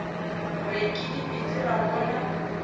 re ke dipitsi ra bona